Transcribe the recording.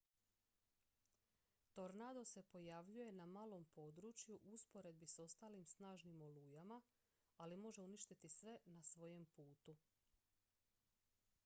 tornado se pojavljuje na malom području u usporedbi s ostalim snažnim olujama ali može uništiti sve na svojem putu